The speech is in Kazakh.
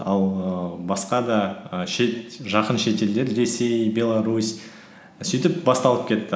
ал ііі басқа да і жақын шетелдер ресей беларусь сөйтіп басталып кетті